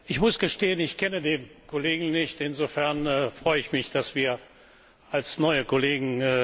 Herr Präsident! Ich muss gestehen, ich kenne den Kollegen nicht. Insofern freue ich mich, dass wir als neue Kollegen...